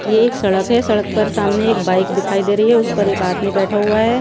ये एक सड़क हैं सड़क पर सामने एक बाइक दिखाई दे रही हैं उस पर एक आदमी बैठा हुआ हैं।